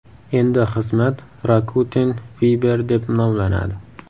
Endi xizmat Rakuten Viber deb nomlanadi.